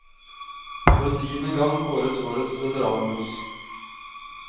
For tiende gang kåres årets veteranbuss.